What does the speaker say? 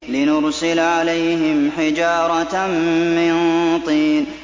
لِنُرْسِلَ عَلَيْهِمْ حِجَارَةً مِّن طِينٍ